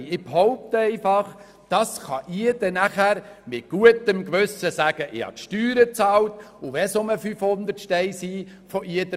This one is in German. Ich behaupte einfach, so kann jeder nachher mit gutem Gewissen sagen, er habe die Steuern bezahlt und wenn es auch nur 500 Franken sind.